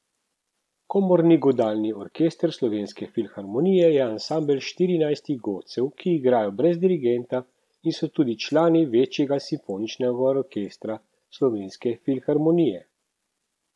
Komorni godalni orkester Slovenske filharmonije je ansambel štirinajstih godalcev, ki igrajo brez dirigenta in so tudi člani večjega simfoničnega orkestra Slovenske filharmonije.